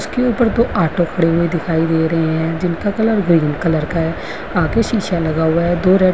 उसके ऊपर दो ऑटो खड़े हुए दिखाई दे रहें हैं जिनका कलर कलर का हैआगे शीसा लगा हुआ है। दो रेड --